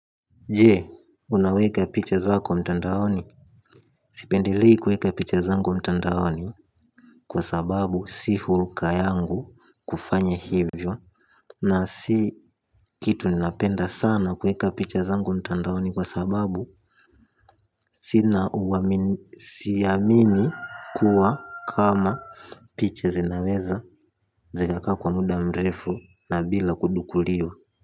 Jee unaweka picha zako mtandaoni sipendelei kuweka picha zangu mtandaoni. Kwa sababu si hulka yangu kufanya hivyo. Na si kitu ninapenda sana kuweka picha zangu mtandaoni kwa sababu siamini kuwa kama picha zinaweza zikakaa kwa muda mrefu na bila kudukuliwa.